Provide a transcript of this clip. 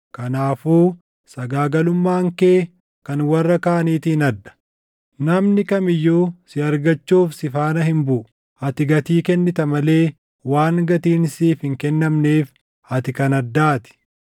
Kanaafuu sagaagalummaan kee kan warra kaaniitiin adda; namni kam iyyuu si argachuuf si faana hin buʼu. Ati gatii kennita malee waan gatiin siif hin kennamneef ati kan addaa ti.